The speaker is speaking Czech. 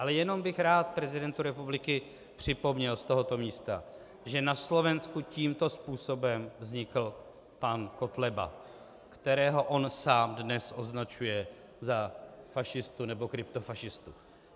Ale jenom bych rád prezidentu republiky připomněl z tohoto místa, že na Slovensku tímto způsobem vznikl pan Kotleba, kterého on sám dnes označuje za fašistu nebo kryptofašistu.